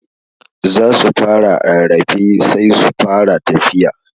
Za su fara rarrafe sai su fara tafiya.